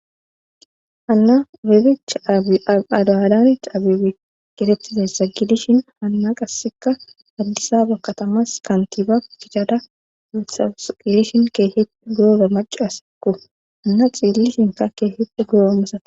Hanna rebecha abiadaadan cabeb getetizessa gidishin hanna qasseka addisaba katamas kantiba kichada wuthaus qilishin keehie guoza macasseku anna xiilli shinka keehite guroommasate.